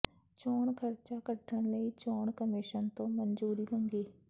ਚੋਣ ਖ਼ਰਚਾ ਕੱਢਣ ਲਈ ਚੋਣ ਕਮਿਸ਼ਨ ਤੋਂ ਮਨਜੂਰੀ ਮੰਗੀ